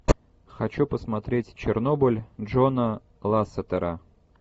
хочу посмотреть чернобыль джона лассетера